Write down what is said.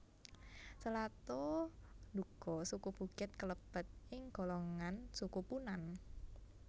Selato nduga suku Bukit kalebet ing golongan Suku Punan